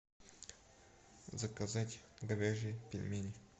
заказать говяжьи пельмени